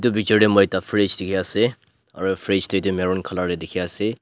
itu picture tey moi ekta fridge dikhi ase aru fridge tey du maroon colour dikhi ase.